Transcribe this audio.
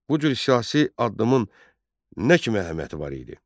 Bu cür siyasi addımın nə kimi əhəmiyyəti var idi?